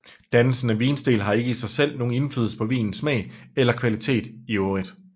Dannelsen af vinsten har ikke i sig selv nogen indflydelse på vinens smag eller kvalitet i øvrigt